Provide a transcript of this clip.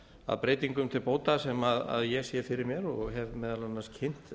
að breytingum til bóta sem ég sé fyrir mér og hef meðal annars kynnt